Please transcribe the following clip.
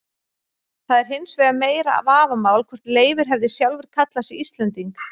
Það er hins vegar meira vafamál hvort Leifur hefði sjálfur kallað sig Íslending.